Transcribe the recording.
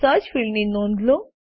search ફિલ્ડની નોંધ લો